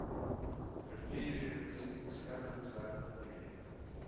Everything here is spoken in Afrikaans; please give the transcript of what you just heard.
riviererosie beskermingswerke projek